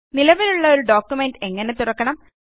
നിലവിലുള്ള ഒരു ഡോക്യുമെന്റ് എങ്ങനെ തുറക്കണം